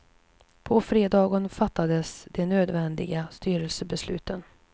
På fredagen fattades de nödvändiga styrelsebesluten.